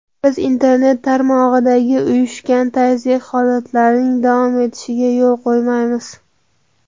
Biz internet tarmog‘idagi uyushgan tazyiq holatlarining davom etishiga yo‘l qo‘ymaymiz.